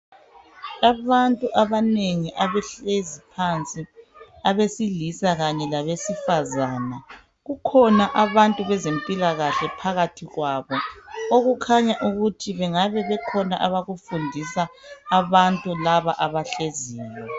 Abantu abanengi abahlezi phansi abesilisa kanye labesifazana kukhona abantu bezempila kahle phakathi kwabo okukhanya ukuthi kungabe kukhona abakufundisa abantu laba abahleziyo